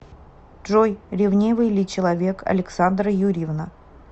джой ревнивый ли человек александра юрьевна